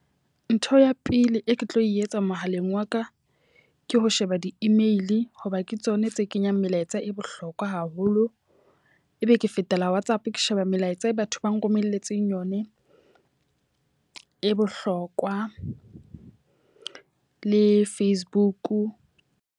Ntho ya pele e ke tlo e etsa mohaleng wa ka, ke ho sheba di-email ho ba ke tsona tse kenyang melaetsa e bohlokwa haholo. E be ke fetela WhatsApp ke sheba melaetsa e batho ba nromelletseng yone e bohlokwa le Facebook.